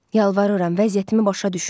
Yalvarıram, vəziyyətimi başa düşün.